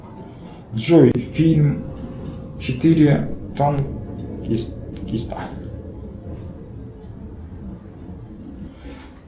джой фильм четыре танкиста